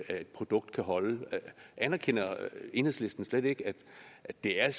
et produkt kan holde anerkender enhedslisten slet ikke at det er